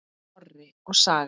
Orri og Saga.